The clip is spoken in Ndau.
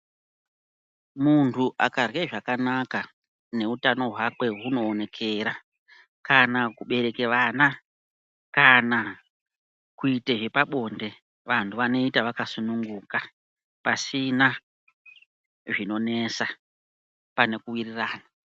Muntu akarye zvanakana neutano hwake hunoonekera kana kubereke vana kana kuite zvepabonde vantu vanoita vakasununguka pasina zvinonetsana pane kuwirirana .